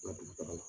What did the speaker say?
Nka dugu taga la